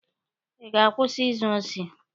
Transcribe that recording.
Ị ga-akwụsị izu osi!